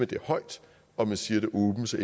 det højt og man siger det åbent så